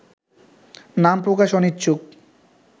নাম প্রকাশে অনিচ্ছুক